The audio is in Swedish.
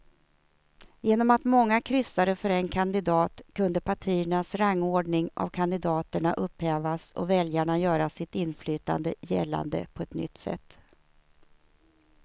Genom att många kryssade för en kandidat kunde partiernas rangordning av kandidaterna upphävas och väljarna göra sitt inflytande gällande på ett nytt sätt.